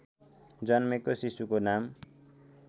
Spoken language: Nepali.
जन्मेको शिशुको नाम